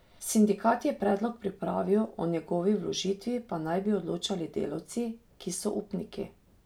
Sindikat je predlog pripravil, o njegovi vložitvi pa naj bi odločali delavci, ki so upniki.